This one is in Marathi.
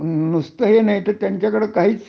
नुस्त हे नाही तर त्यांच्या कडे काहीच